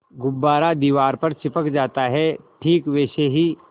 गुब्बारा दीवार पर चिपक जाता है ठीक वैसे ही